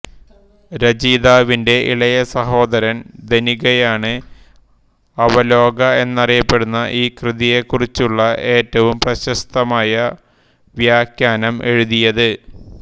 രചയിതാവിന്റെ ഇളയ സഹോദരൻ ധനികയാണ് അവലോക എന്നറിയപ്പെടുന്ന ഈ കൃതിയെക്കുറിച്ചുള്ള ഏറ്റവും പ്രശസ്തമായ വ്യാഖ്യാനം എഴുതിയത്